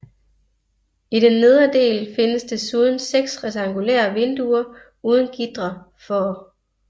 I den nedre del findes desuden 6 rektangulære vinduer uden gitre for